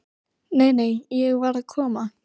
Nei, nei, ég var að koma.